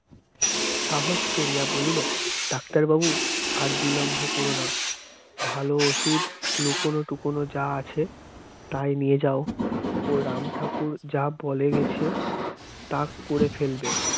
সাহস করিয়া বলিল doctor বাবু আর বিলম্ব করো না ভালো ওষুধ লুকানো টুকোনো যা আছে তাই নিয়ে যাও ও রাম ঠাকুর যা বলে গেছে তা করে ফেলবে